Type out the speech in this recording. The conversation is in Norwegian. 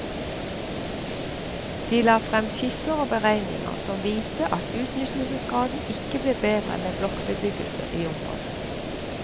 De la frem skisser og beregninger som viste at utnyttelsesgraden ikke ble bedre med blokkbebyggelse i området.